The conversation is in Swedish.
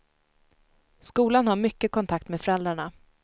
Skolan har mycket kontakt med föräldrarna.